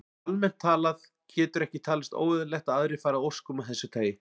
Og almennt talað getur ekki talist óeðlilegt að aðrir fari að óskum af þessu tagi.